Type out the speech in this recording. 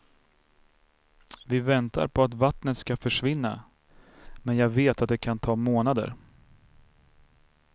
Vi väntar på att vattnet ska försvinna, men jag vet att det kan ta månader.